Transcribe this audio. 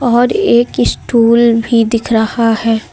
और एक स्टूल भी दिख रहा है।